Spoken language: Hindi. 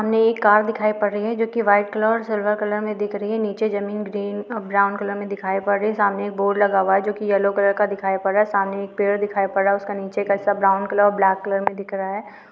सामने एक कार दिखाई पड रही है जो कि व्हाइट कलर और सिल्वर कलर में दिख री है निचे जमीन ग्रीन अ ब्राउन कलर में दिखाई पड़ रही है सामने एक बोर्ड लगा हुआ है जोकि येल्लो कलर का दिखाई पड रहा है सामने एक पेड़ दिखाई पड रहा है उसका निचे का हिस्सा ब्राउन कलर और ब्लेक कलर में दिख रहा हैं।